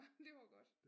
Det var godt